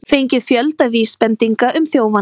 Fengið fjölda vísbendinga um þjófana